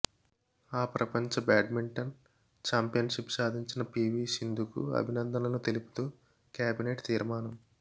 అ ప్రపంచ badminton championship సాధించిన PV సింధుకు అభినందనలు తెలుపుతూ కేబినెట్ తీర్మానం